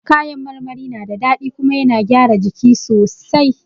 Ka yan marmari na da daɗi kuma yana gyara jiki sosai